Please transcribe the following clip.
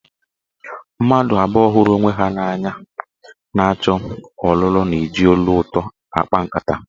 Mmadụ abụọ hụrụ onwe ha n'anya na-achọ ọlụlụ na-eji olu ụtọ akpa nkata.